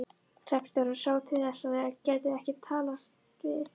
Hreppstjórinn sá til þess að þeir gætu ekki talast við.